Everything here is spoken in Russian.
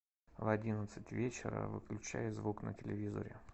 в одиннадцать вечера выключай звук на телевизоре